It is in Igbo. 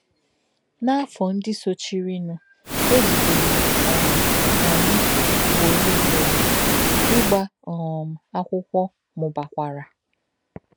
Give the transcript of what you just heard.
N’áfọ̀ ndị sochírìnụ, e jìderè um anyị ùgbòró ùgbòró, ígba um akwụkwọ mùbàkwara.